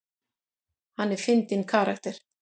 Hann er fyndinn karakter.